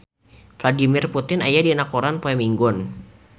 Vladimir Putin aya dina koran poe Minggon